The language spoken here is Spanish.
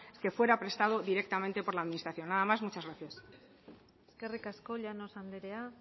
que fuera prestado directamente por la administración nada más muchas gracias eskerrik asko llanos andrea